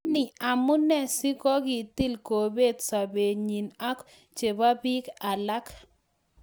Anii, amune si kokitil kobet sobenyin ak chebo biik alak?